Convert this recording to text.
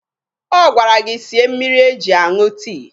Ọ gwara gị sie mmiri eji aṅụ tii